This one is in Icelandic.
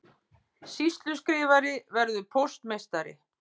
Sýsluskrifari verður póstmeistari